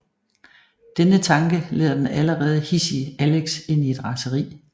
Denne tanke leder den allerede hidsige Alex ind i et raseri